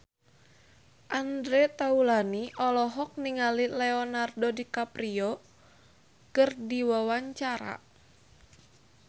Andre Taulany olohok ningali Leonardo DiCaprio keur diwawancara